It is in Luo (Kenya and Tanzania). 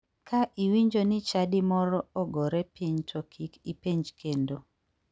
Ka iwinjo ni chadi moro ogore piny to kik ipenj kendo.